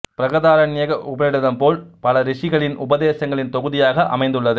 பிரகதாரண்யக உபநிடதம் போல் பல ரிஷிகளின் உபதேசங்களின் தொகுதியாக அமைந்துள்ளது